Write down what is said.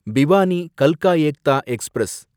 பிவானி கல்கா ஏக்தா எக்ஸ்பிரஸ்